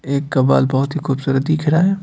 एक का बाल बहुत ही खूबसूरत दिख रहा है।